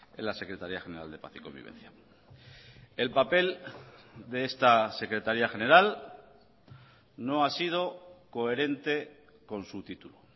en la secretaría general de paz y convivencia el papel de esta secretaría general no ha sido coherente con su título